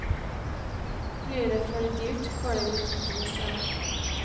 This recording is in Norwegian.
Blir det for dyrt, går de i butikken i stedet.